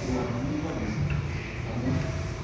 Choruani nyu bo keny, amu?